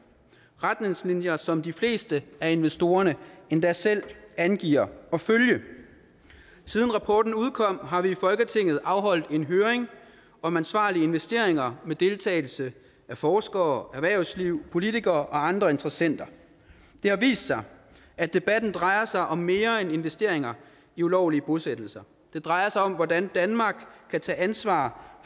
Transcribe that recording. retningslinjer som de fleste af investorerne endda selv angiver at følge siden rapporten udkom har vi i folketinget afholdt en høring om ansvarlige investeringer med deltagelse af forskere erhvervsliv politikere og andre interessenter det har vist sig at debatten drejer sig om mere end investeringer i ulovlige bosættelser det drejer sig om hvordan danmark kan tage ansvar